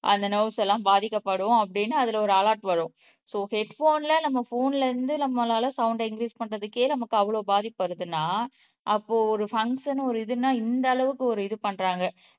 அந்த நொவ்ஸ் எல்லாம் பாதிக்கப்படும் அப்படின்னு அதுல ஒரு அலெர்ட் வரும் சோ ஹெட் போன்ல நம்ம போன்ல இருந்து நம்மளால சவுண்ட இங்கிரீஸ் பண்றதுக்கே நமக்கு அவ்வளவு பாதிப்பு வருதுன்னா அப்போ ஒரு பம்சன் ஒரு இதுன்னா இந்த அளவுக்கு ஒரு இது பண்றாங்க